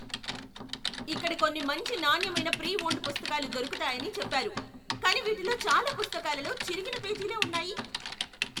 ఇక్కడ కొన్ని మంచి నాణ్యమైన ప్రీ ఓన్డ్ పుస్తకాలు దొరుకుతాయని చెప్పారు, కానీ వీటిలో చాలా పుస్తకాలలో చిరిగిన పేజీలే ఉన్నాయి.